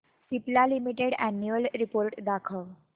Cipla limited annual report दाखव